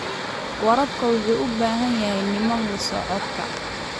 Waraabka wuxuu u baahan yahay nidaam la socodka.